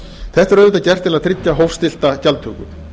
þetta er auðvitað gert til að tryggja hófstillta gjaldtöku